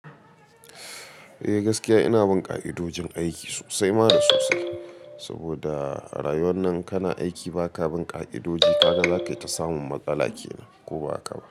Eh gaskiya ina bin ka'idojin aiki sosai ma da sosai, saboda a rayuwar nan kana aiki ba ka bin ka'idoji ka ga za ka yi ta samun matsala kenan ko ba haka ba.